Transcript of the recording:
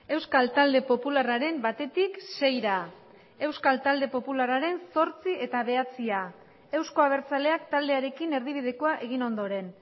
euskal talde popularraren batetik seira euskal talde popularraren zortzi eta bederatzia euzko abertzaleak taldearekin erdibidekoa egin ondoren